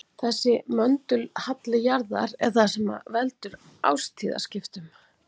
þessi möndulhalli jarðar er það sem veldur árstíðaskiptum